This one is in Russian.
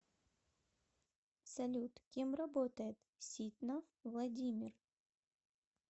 салют кем работает ситнов владимир